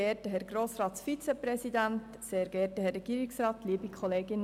«Vertrauen ist gut, Kontrolle ist besser.»